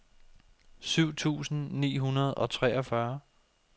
syv tusind ni hundrede og treogfyrre